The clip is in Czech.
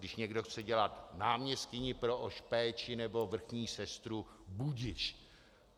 Když někdo chce dělat náměstkyni pro péči nebo vrchní sestru, budiž.